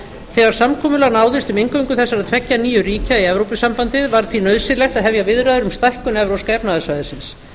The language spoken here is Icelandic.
þegar samkomulag náðist um inngöngu þessara tveggja nýju ríkja í evrópusambandið var því nauðsynlegt að hefja viðræður um stækkun evrópska efnahagssvæðisins